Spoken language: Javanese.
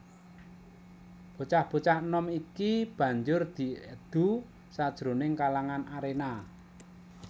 Bocah bocah enom iki banjur diedu sajroning kalangan aréna